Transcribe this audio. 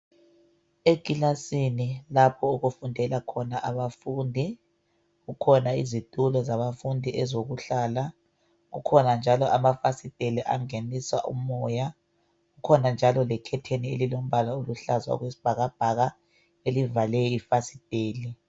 Ekilasini lapho okufundela abafundi kukhona izitulo zabafundi ezokuhlala, kukhona njalo amafasteli angenisa umoya kukhona njalo lekhetheni elilombala oluhlaza okwesibhakabhaka elivale ifasitela.